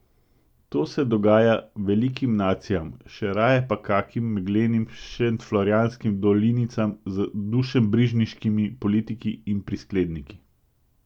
To se dogaja velikim nacijam, še raje pa kakim meglenim šentflorjanskim dolinicam z dušebrižniškimi politiki in priskledniki.